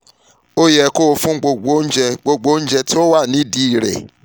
o yẹ kó o fún gbogbo oúnjẹ gbogbo oúnjẹ tó wà nídìí rẹ àti oúnjẹ tó wà um